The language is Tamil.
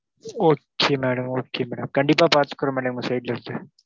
Okay madam okay madam கண்டிப்பா பாத்துகிறோம், madam எங்க side ல இருந்து,